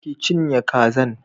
Ki cinye kazan